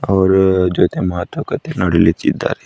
ಅವರ ಇವರ್ ಜೊತೆ ಮಾತುಕತೆ ನಡ್ಲಿತ್ತಿದ್ದಾರೆ.